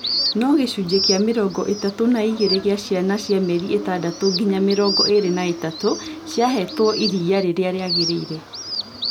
No gĩcunjĩ kĩa mĩrongo ĩtatũ na igĩrĩ kĩa ciana cia mĩeri ĩtandatũ nginya mĩrongo ĩĩrĩ na ĩtatũ ciahetwo iria rĩrĩa rĩagĩrĩire